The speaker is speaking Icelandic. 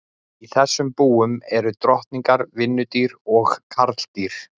Í þessum búum eru drottningar, vinnudýr og karldýr.